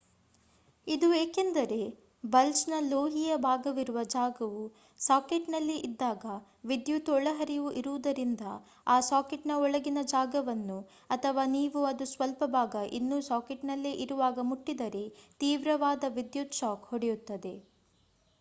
ಇದು ಏಕೆಂದರೆ ಬಲ್ಬ್ ನ ಲೋಹೀಯ ಭಾಗವಿರುವ ಜಾಗವು ಸಾಕೆಟ್ನಲ್ಲಿ ಇದ್ದಾಗ ವಿದ್ಯುತ್ ಒಳಹರಿವು ಇರುವುದರಿಂದ ಆ ಸಾಕೆಟ್ನ ಒಳಗಿನ ಜಾಗವನ್ನು ಅಥವಾ ನೀವು ಅದು ಸ್ವಲ್ಪ ಭಾಗ ಇನ್ನೂ ಸಾಕೆಟ್ನಲ್ಲೆ ಇರುವಾಗ ಮುಟ್ಟಿದರೆ ತೀವ್ರವಾದ ವಿದ್ಯುತ್ ಶಾಕ್ ಹೊಡೆಯುತ್ತದೆ